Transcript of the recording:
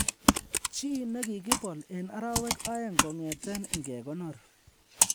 Chi ne kigibol en arawek aeng kong'eten ingegonor